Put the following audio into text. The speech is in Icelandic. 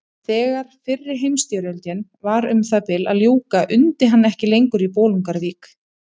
Þegar fyrri heimsstyrjöldinni var um það bil að ljúka undi hann ekki lengur í Bolungarvík.